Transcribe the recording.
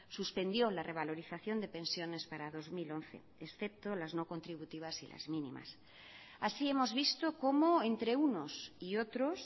suspendió la revalorización de pensiones para dos mil once excepto las no contributivas y las mínimas así hemos visto como entre unos y otros